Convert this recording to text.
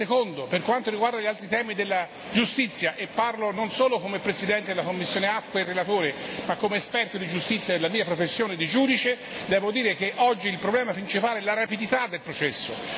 In secondo luogo, per quanto riguarda gli altri temi della giustizia e parlo non solo come presidente della commissione AFCO e relatore ma anche come esperto di giustizia nella mia professione di giudice devo dire che oggi il problema principale è la rapidità del processo.